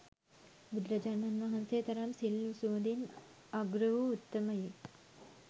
බුදුරජාණන් වහන්සේ තරම් සිල් සුවඳින් අග්‍රවූ උත්තමයෙක්